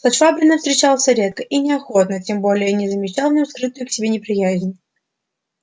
со швабриным встречался редко и неохотно тем более что замечал в нем скрытую к себе неприязнь